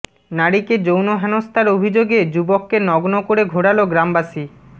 নারীকে যৌন হেনস্তার অভিযোগে যুবককে নগ্ন করে ঘোরালো গ্রামবাসী